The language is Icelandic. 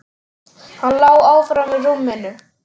Hann lá áfram í rúminu.